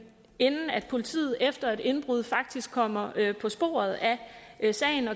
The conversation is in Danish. politiet efter et indbrud faktisk kommer på sporet af